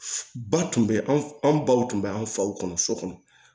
Ba tun bɛ an baw tun bɛ an faw kɔnɔ so kɔnɔ